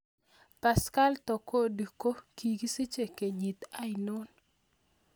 Pascal Tokodi ko kikisiche kenyit ainon